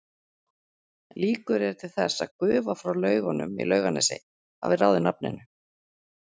Líkur eru til þess að gufa frá laugunum í Laugarnesi hafi ráðið nafninu.